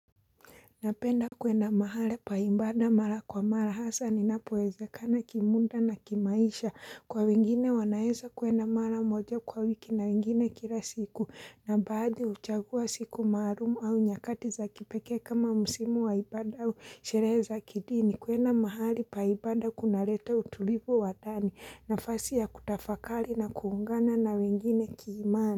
Napenda kuenda mahali pa ibada mara kwa mara hasa ninapoezekana kimuda na kimaisha kwa wengine wanaeza kwenda mara moja kwa wiki na wengine kila siku na baadhi huchagua siku maalumu au nyakati za kipekee kama musimu wa ibada au sherehe za kidini. Kuenda mahali pa ibada kunaleta utulivu wa ndani nafasi ya kutafakari na kuungana na wengine kiimani.